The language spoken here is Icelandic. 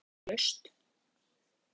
Ekki getum við hangið hér endalaust.